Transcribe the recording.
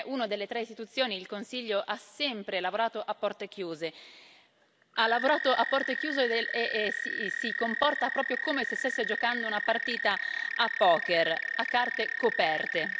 Perché una delle tre istituzioni, il Consiglio, ha sempre lavorato a porte chiuse, ha lavorato a porte chiuse e si comporta proprio come se stesse giocando una partita a poker, a carte coperte.